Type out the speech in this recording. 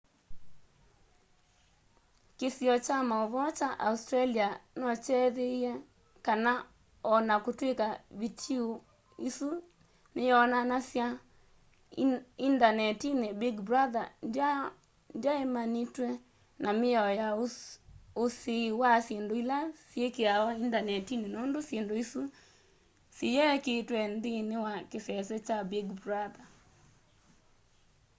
kĩsiio kya maũvoo kya australia nokyethĩie kana o na kũtw'ĩka vitiũ ĩsu nĩyonanasw'a indanetinĩ big brother ndyaemanĩtwe na mĩao ya usiĩi wa syĩndũ ila syĩkĩawa indanetinĩ nũndũ syĩndũ isu siyekĩĩtwe nthĩinĩ wa kĩsese kya big brother